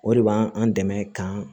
O de b'an an dɛmɛ k'an